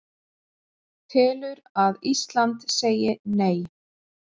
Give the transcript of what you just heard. Telur að Ísland segi Nei